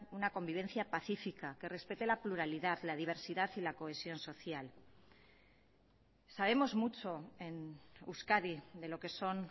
una convivencia pacífica que respete la pluralidad la diversidad y la cohesión social sabemos mucho en euskadi de lo que son